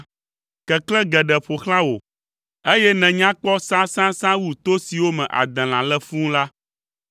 Keklẽ geɖe ƒo xlã wò, eye nènya kpɔ sãsãsã wu to siwo me adelã le fũu la.